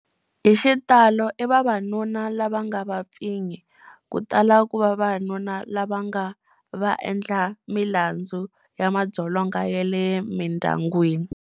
Hi xitalo i vavanuna lava nga vapfinyi. Ku tala ku va vavanuna lava nga vaendlamilandzu ya madzolonga ya le mindyangwini.